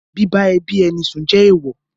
Bíbá ẹbí ẹni sùn ju èèwọ̀.